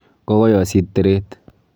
Kokoyosit teret .